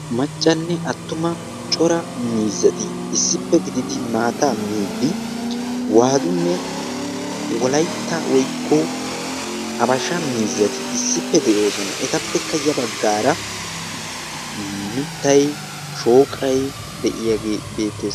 Maccanne attuma cora miizzati issippe gididi maata miidi waadunne wolaitta woykko abasha miizzati issippe de'oosona .etappekka ya baggaara mittay shooqai de'iyaage beettes.